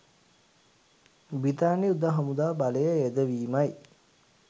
බ්‍රිතාන්‍ය යුද හමුදා බලය යෙදවීමයි